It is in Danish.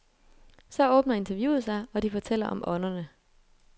Så åbner interviewet sig, og de fortæller om ånderne.